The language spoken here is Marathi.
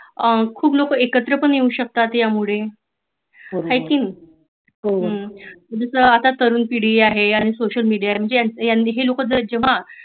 हैं खुप लोक एकत्र पण येऊ शकतात यामुळे हाय की नाही तसेच आता तरुण पिढी‌ आहे आणि सोशल मेडिया म्हणजे हे लोक जेव्हा